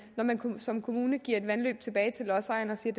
når man som kommune giver et vandløb tilbage til lodsejeren og siger